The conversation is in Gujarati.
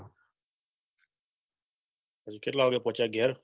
કેટલા વાગે પહોચ્યા ઘેર